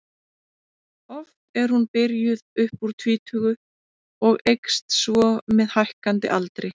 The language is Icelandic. Oft er hún byrjuð upp úr tvítugu og eykst svo með hækkandi aldri.